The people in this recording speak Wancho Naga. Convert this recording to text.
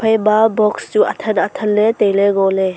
ema box chu athan athan tailey ngoley.